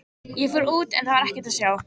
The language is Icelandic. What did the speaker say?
Ég fór út en það var ekkert að sjá.